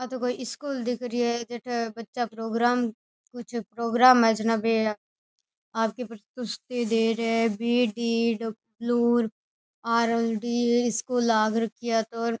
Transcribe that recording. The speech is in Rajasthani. आ तो कोई स्कूल दिख री है जेटा बच्चा प्रोग्राम कुछ प्रोग्राम है जना बे आप की प्रस्तुति दे रहे है बी.डी.डब्लू.आर.एल.डी. स्कूल लाग रखी है आ तो।